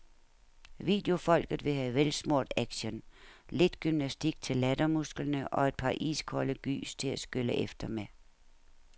Videofolket vil have velsmurt action, lidt gymnastik til lattermusklerne og et par iskolde gys til at skylle efter med.